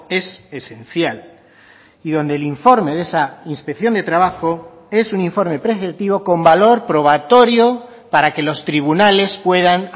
es esencial y donde el informe de esa inspección de trabajo es un informe preceptivo con valor probatorio para que los tribunales puedan